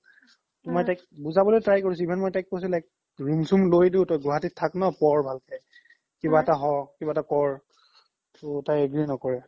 তৌ মই তাইক বুজাব লই try কৰিছো ইমান দিন মই তাইক কৈছো like room চোম লই তই গুৱাহাতিত থাক ন পঢ় ভালকে কিবা এটা হো কিবা এটা ক'ৰ তৌ তাই agree ন্কৰে